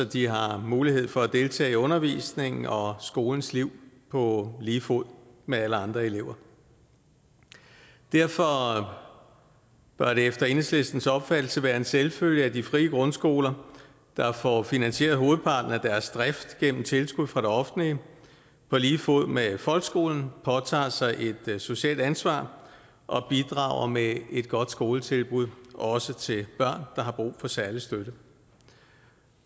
de har mulighed for at deltage i undervisningen og skolens liv på lige fod med alle andre elever derfor bør det efter enhedslistens opfattelse være en selvfølgelig at de frie grundskoler der får finansieret hovedparten af deres drift gennem tilskud fra det offentlige på lige fod med folkeskolen påtager sig et socialt ansvar og bidrager med et godt skoletilbud også til børn der har brug for særlig støtte